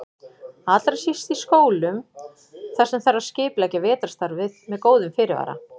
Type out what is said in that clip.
Allra síst í skólum þar sem þarf að skipuleggja vetrarstarfið með góðum fyrirvara.